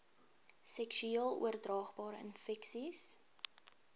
seksueel oordraagbare infeksies